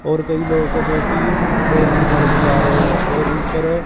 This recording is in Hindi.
और कई लोग जो कि पेड़ की तरफ जा रहे हैं और ऊपर--